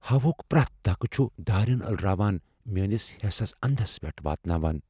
ہوا ہٗك پریتھ دھكہٕ چھٗ دارین الہٕ راوان میانِس حیسس اندس پیٹھ واتناوان ۔